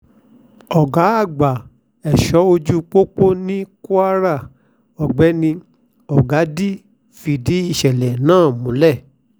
ọ̀gá àgbà ẹ̀ṣọ́ ojú pópó ní kwara ọ̀gbẹ́ni ọ̀gádì fìdí ìṣẹ̀lẹ̀ náà múlẹ̀